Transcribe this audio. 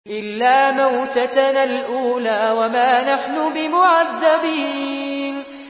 إِلَّا مَوْتَتَنَا الْأُولَىٰ وَمَا نَحْنُ بِمُعَذَّبِينَ